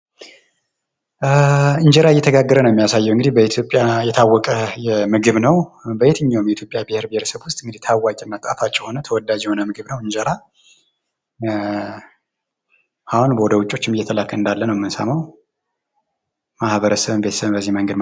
እንጀራ እየተጋገረ ነው የሚያሳየው እንግዲህ በኢትዮጵያ የታወቀ ምግብ ነው ። የትኛውም የኢትዮጵያ ብሄር ብሄረሰቦች ውስጥ ታዋቂና ጣፋጭ የሆነ ምግብ ነው ። እንጀራ አሁን ወደ ውጭችም እየተላከ እንዳለ ነው የምንሰማው ።ማህበረሰብም ቤተሰብም በዚህ መንገድ